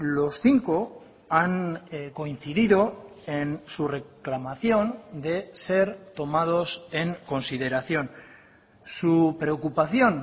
los cinco han coincidido en su reclamación de ser tomados en consideración su preocupación